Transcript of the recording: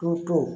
Toto